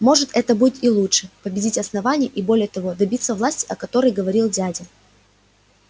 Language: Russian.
может это будет и лучше победить основание и более того добиться власти о которой говорил дядя